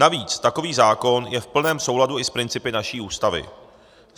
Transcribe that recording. Navíc takový zákon je v plném souladu i s principy naší Ústavy.